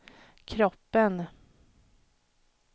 kroppen